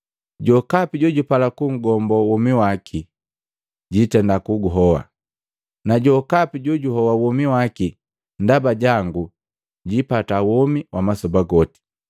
Jokapi jojupala kugombo womi waki jitenda kuguhoa, na jokapi jojuhoa womi waki ndaba jangu, jiipata womi wa masoba goti.